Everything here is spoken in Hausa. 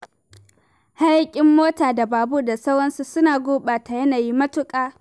Hayaƙin mota da babur da sauransu suna gurɓata yanayi matuƙa